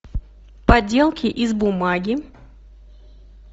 поделки из бумаги